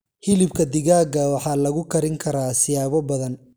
Hilibka digaaga waxaa lagu karin karaa siyaabo badan.